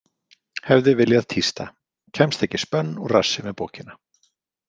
Hefði viljað tísta: Kemst ekki spönn úr rassi með bókina.